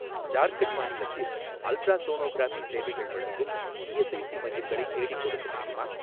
ஜார்க்கண்ட் மாநிலத்தில் அல்ட்ராசோனோகிராஃபி சேவைகள் வழங்கும் இஎஸ்ஐஸி மையங்களை தேடிக்கொடுக்க முடியுமா?